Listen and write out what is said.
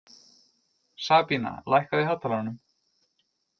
Sabína, lækkaðu í hátalaranum.